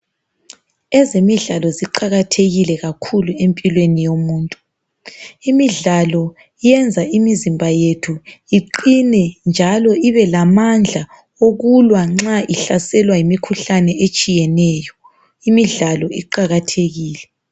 Ezemidlalo ziqakathekile kakhulu empilweni yomuntu. Imidlalo iyenza imizimba yethu iqine njalo ibelamanda okulwa nxa ihlaselwa yimikhuhlane etshiyeneyo. Imidlalo iqakathekile.